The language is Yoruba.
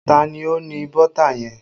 Ta ni ó ní bọ́tà yẹn?